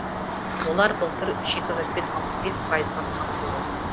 олар былтыр шикізатпен алпыс бес пайызға қамтылды